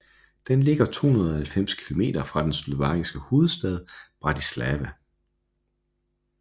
Den ligger 290 kilometer fra den slovakiske hovedstad Bratislava